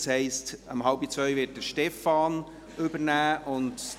Das heisst, um 13.30 Uhr werden Stefan Costa und Hervé Gullotti den Vorsitz übernehmen.